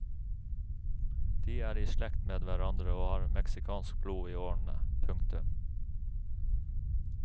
De er i slekt med hverandre og har mexicansk blod i årene. punktum